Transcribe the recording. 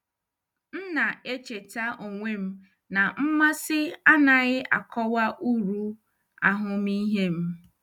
M na-echeta onwe m na mmasị anaghị akọwa uru ahụmịhe m.